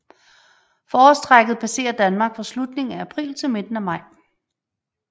Forårstrækket passerer Danmark fra slutningen af april til midten af maj